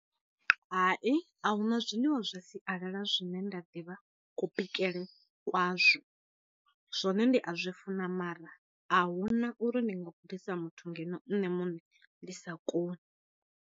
Hai a huna zwiḽiwa zwa sialala zwine nda ḓivha kho bikele kwazwo, zwone ndi a zwi funa mara a huna uri ndi nga gudisa muthu ngeno nṋe muṋe ndi sa koni.